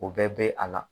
O bɛɛ bɛ a la